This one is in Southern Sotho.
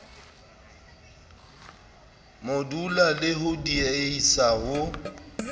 modula le ho diehisa ho